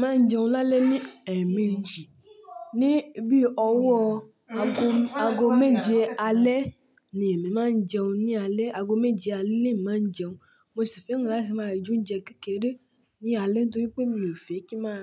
Màá ń jẹun lálẹ́ ni ẹẹ̀ẹ̀méjì. Ni bí ọwọ́ aago méje alẹ́ ni èmi máa ń jẹun. Ni alẹ́ aago méje alẹ́ ni èmi máa ń jẹun. Mo sì fẹ́ràn láti máa joúnjẹ kékeré ní alẹ́ torí pé mi ò fẹ́ kí n máa,